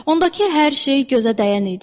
Ondakı hər şey gözə dəyən idi.